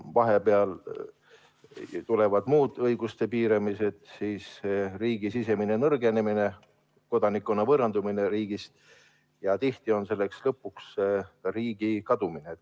Vahepeal tulevad muud õiguste piiramised, riigi sisemine nõrgenemine ja kodanikkonna riigist võõrandumine ning tihti on lõpuks selle tagajärg riigi kadumine.